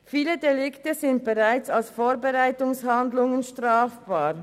Viele Delikte sind bereits als Vorbereitungshandlungen strafbar.